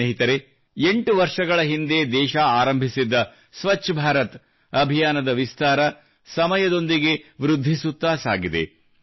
ಸ್ನೇಹಿತರೆ 8 ವರ್ಷಗಳ ಹಿಂದೆ ದೇಶ ಆರಂಭಿಸಿದ್ದ ಸ್ವಚ್ಛ ಭಾರತ ಅಭಿಯಾನದ ವಿಸ್ತಾರ ಸಮಯದೊಂದಿಗೆ ವೃದ್ಧಿಸುತ್ತಾ ಸಾಗಿದೆ